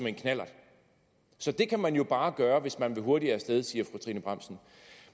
en knallert så det kan man jo bare gøre hvis man vil hurtigere af sted siger fru trine bramsen